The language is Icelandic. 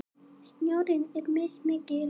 Snjórinn er mismikil